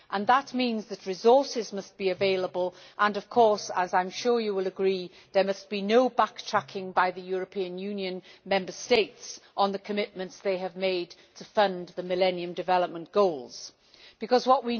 That means that resources must be available and, of course as I am sure you will agree there must be no backtracking by the European Union Member States on the commitments they have made to fund the Millennium Development Goals What